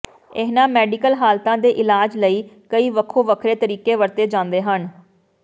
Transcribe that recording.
ਇਹਨਾਂ ਮੈਡੀਕਲ ਹਾਲਤਾਂ ਦੇ ਇਲਾਜ ਲਈ ਕਈ ਵੱਖੋ ਵੱਖਰੇ ਤਰੀਕੇ ਵਰਤੇ ਜਾਂਦੇ ਹਨ